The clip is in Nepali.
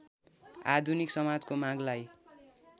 आधुनिक समाजको मागलाई